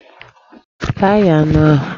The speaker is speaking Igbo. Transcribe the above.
Ga ghee anụ ahụ!